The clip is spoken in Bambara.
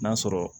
N'a sɔrɔ